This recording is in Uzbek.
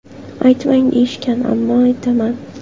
Aytmang deyishgan, ammo aytaman.